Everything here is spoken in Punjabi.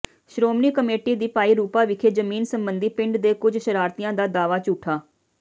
ਸ਼੍ਰੋਮਣੀ ਕਮੇਟੀ ਦੀ ਭਾਈ ਰੂਪਾ ਵਿਖੇ ਜ਼ਮੀਨ ਸਬੰਧੀ ਪਿੰਡ ਦੇ ਕੁਝ ਸ਼ਰਾਰਤੀਆਂ ਦਾ ਦਾਵਾ ਝੂਠਾ